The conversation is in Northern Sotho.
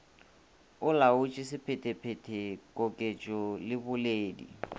olaotše sephetephete koketšo le boledi